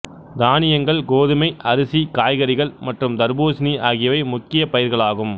தானியங்கள் கோதுமை அரிசி காய்கறிகள் மற்றும் தர்பூசணி ஆகியவை முக்கியப்பயிர்களாகும்